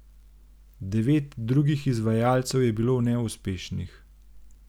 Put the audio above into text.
Devet drugih izvajalcev je bilo neuspešnih.